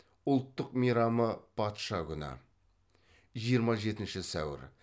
ұлттық мейрамы патша күні жиырма жетінші сәуір